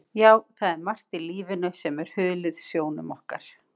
Já, það er margt í lífinu sem er hulið sjónum okkar.